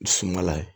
Sumala ye